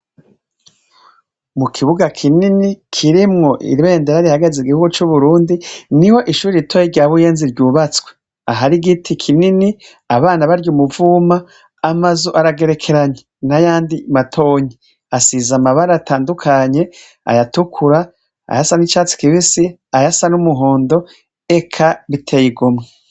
Mu kibuga kinini kirimwo irbendera rihagaze igihugo c'uburundi ni ho ishuri ritoye rya buyenzi ryubatswe ahari igiti kinini abana barya umuvuma amazo aragerekeranya n'ayandi matonyi asiza amabare atandukanye ayatukura ayasan'icatsi kibisi aya sa n'umuhondo eka biteye igomwe.